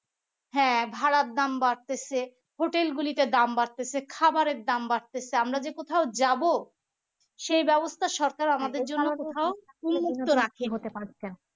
হ্যাঁ ভাড়ার দাম বাড়তেছে hotel গুলিতে দাম বাড়তেছে খাবারের দাম বাড়তেছে আমরা যে কোথাও যাব সে ব্যবস্থা সরকার আমাদের